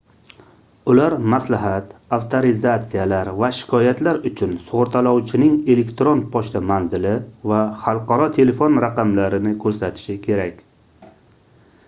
ular maslahat/avtorizatsiyalar va shikoyatlar uchun sug'urtalovchining elektron pochta manzili va xalqaro telefon raqamlarini ko'rsatishi kerak